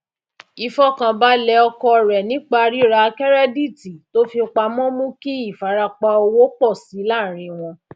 ìfọkànbalẹ ọkọ rẹ nípa rírà kẹrẹdíìtì tó fi pamọ mú kí ìfarapa owó pọ síi láàárín wọn